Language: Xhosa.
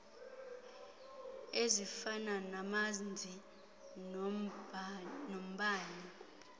ezifana namanzi nombane